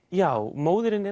já móðirin er